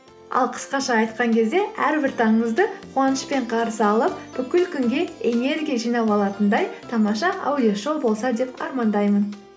ал қысқаша айтқан кезде әрбір таңыңызды қуанышпен қарсы алып бүкіл күнге энергия жинап алатындай тамаша аудиошоу болса деп армандаймын